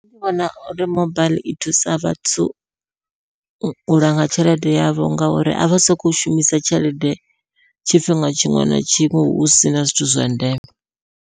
Nṋe ndi vhona uri mobaiḽi i thusa vhathu u langa tshelede yavho ngauri avha soko shumisa tshelede tshifhinga tshiṅwe na tshiṅwe hu sina zwithu zwa ndeme.